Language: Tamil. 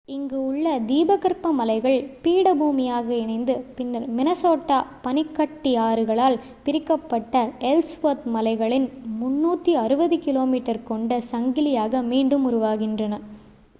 இங்கு உள்ள தீபகற்ப மலைகள் பீடபூமியாக இணைந்து பின்னர் மினசோட்டா பனிக்கட்டியாறுகளால் பிரிக்கப்பட்ட எல்ஸ்வொர்த் மலைகளின் 360 km கொண்ட சங்கிலியாக மீண்டும் உருவாகின்றன